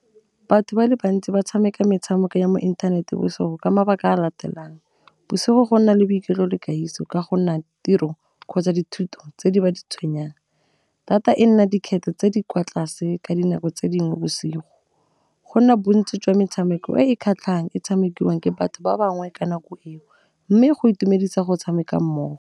Batho ba le bantsi ba tshameka metshameko ya mo inthaneteng bosigo ka mabaka a latelang, bosigo go nna le boiketlo le ka'iso ka go nna tiro kgotsa dithuto tse di ba di tshwenyang. Data e nna dikgetho tse di kwa tlase ka dinako tse dingwe bosigo, gona bontsi jwa metshameko e e kgatlhang e tshamekiwang ke batho ba bangwe ka nako eo, mme go itumedisa go tshameka mmogo.